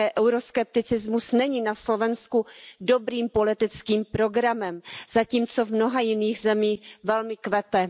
Také euroskepticismus není na Slovensku dobrým politickým programem, zatímco v mnoha jiných zemích velmi kvete.